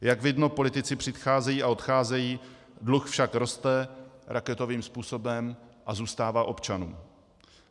Jak vidno, politici přicházejí a odcházejí, dluh však roste raketovým způsobem a zůstává občanům.